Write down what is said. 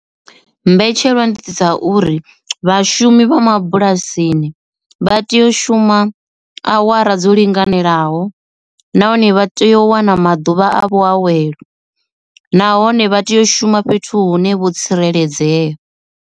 Mbetshelwa ndi dza uri vhashumi vha mabulasini vha tea u shuma awara dzo linganelaho nahone vha tea u wana maḓuvha a vhuawelo nahone vha tea u shuma fhethu hune vho tsireledzea.